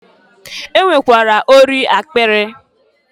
E nwekwara ori akpịrị.